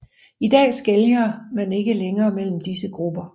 I dag skelner man ikke længere mellem disse grupper